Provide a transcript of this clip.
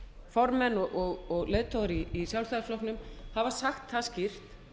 formenn og leiðtogar í sjálfstæðisflokknum hafa sagt það skýrt